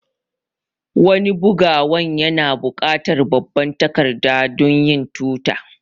Wani bugawan yana bukatar babban takarda dunyin tota